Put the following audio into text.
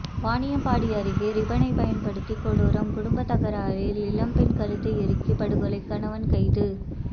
வாணியம்பாடி அருகே ரிப்பனை பயன்படுத்தி கொடூரம் குடும்பத்தகராறில் இளம்பெண் கழுத்து இறுக்கி படுகொலை கணவன் கைது